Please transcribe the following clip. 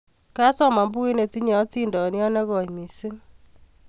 Kasoman pukuit netinye etindyot ne koy missing'